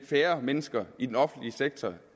færre mennesker i den offentlige sektor